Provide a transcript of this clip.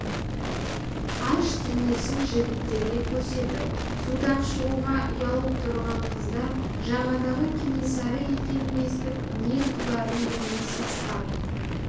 аш денесін жігіттерге көрсетіп судан шығуға ұялып тұрған қыздар жағадағы кенесары екенін естіп не қыларын білмей сасқан